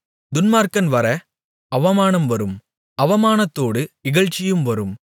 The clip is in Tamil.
துன்மார்க்கன் வர அவமானம் வரும் அவமானத்தோடு இகழ்ச்சியும் வரும்